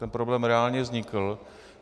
Tento problém reálně vznikl.